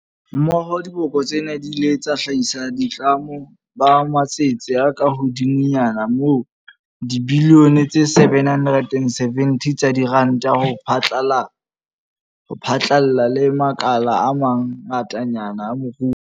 Mmoho, diboka tsena di ile tsa hlahisa boitlamo ba matsete a kahodimonyana ho dibilione tse 770 tsa diranta ho phatlalla le makala a ma ngatanyana a moruo wa rona.